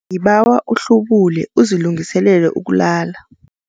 Ngibawa uhlubule uzilungiselele ukulala.